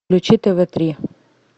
включи тв три